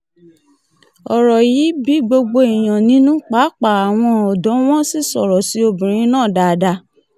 ọ̀rọ̀ yìí bí gbogbo èèyàn nínú páàpáà àwọn ọ̀dọ́ wọn sì sọ̀rọ̀ sí obìnrin náà dáadáa